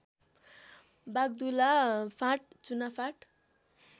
वाग्दुला फाँट चुनाफाँट